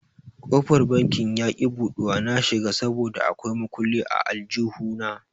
Kofar banki yaki buɗuwa na shiga saboda a kwai makulli a aljihu na.